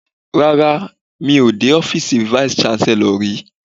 Rárá, mi ò dé ọ́fíìsì vice-Chancellor rí.